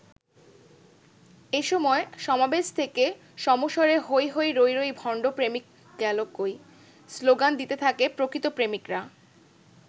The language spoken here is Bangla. এ সময় সমাবেশ থেকে সমস্বরে ‘হৈ হৈ রৈ রৈ, ভণ্ড প্রেমিক গেলো কই’ স্লোগান দিতে থাকে প্রকৃত প্রেমিকরা।